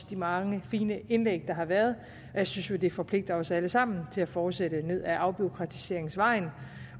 de mange fine indlæg der har været jeg synes jo at det forpligter os alle sammen til at fortsætte ned ad afbureaukratiseringsvejen